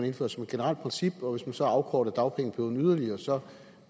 indføre som et generelt princip og hvis man så afkortede dagpengeperioden yderligere så